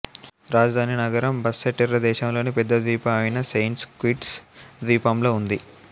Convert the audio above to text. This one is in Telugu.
రాజధాని నగరం బస్సెటెర్రె దేశంలోని పెద్ద ద్వీపం అయిన సెయింట్స్ కిట్స్ ద్వీపంలో ఉంది